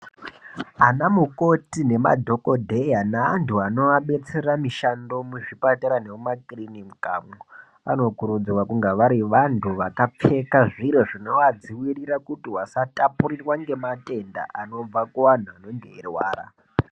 Ana mukoti nemadhogodheya neantu anovabetsera mishando muzvipatara nemumakirinikamwo. Anokurudzirwa kunga vari vantu vakapfeka zviro zvinovadzivirira kuti vasatapurirwa nematenda anobva kuvantu anenge eirwara.